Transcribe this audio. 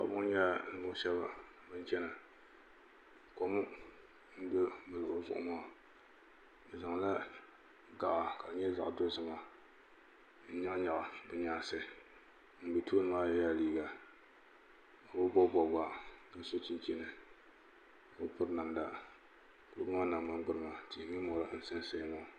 paɣ' ba ŋɔ nyɛla nivuɣibɔgu shɛba ban chɛna kom do luligu zuɣ maa bɛ nyɛgila ga ka di nyɛ zaɣ dozim n nyɛgi bɛ nyɛnsi ŋɔ bɛ tuuni maa yɛla liga o be bobibobigu ka so chichini o be pɛri namida koli maa gbani tihi mori n sansaya